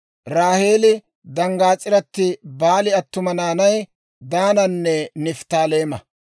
Raaheeli danggaas'iratti Baali attuma naanay Daananne Nifttaaleema.